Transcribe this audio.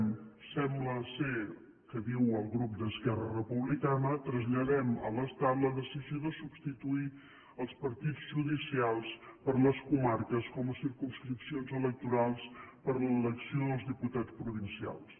sembla que diu el grup d’esquerra republicana traslladem a l’estat la decisió de substituir els partits judicials per les comarques com a circumscripcions electorals per a l’elecció dels diputats provincials